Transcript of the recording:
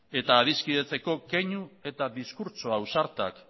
eta adiskidetzeko keinu eta diskurtso ausartak